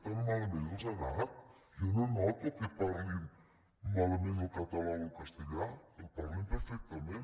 tan malament els ha anat jo no noto que parlin malament el català o el castellà el parlen perfectament